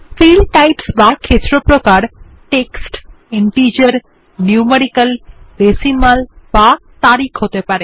field types বা ক্ষেত্র প্রকার টেক্সট ইন্টিজার নিউমেরিক্যাল ডেসিমাল বা তারিখ হতে পারে